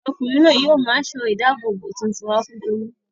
Ọkùnrin náà yóò mú aṣọ-ìdáàbòbò tuntun wá fún Tolú.